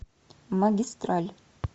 магистраль